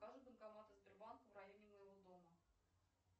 покажи банкоматы сбербанка в районе моего дома